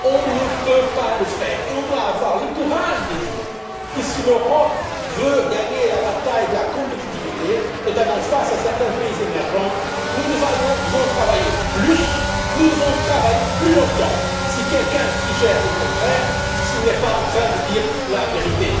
On ne peut pas le faire et on doit avoir le courage de dire que, si l'Europe veut gagner la bataille de la compétitivité, notamment face à certains pays émergents, nous devons travailler plus, nous devons travailler plus longtemps. Si quelqu'un suggère le contraire, il n'est pas en train de dire la vérité.